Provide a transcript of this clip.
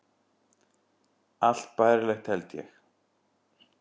Allt bærilegt, held ég.